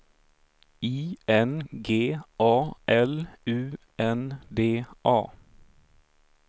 I N G A L U N D A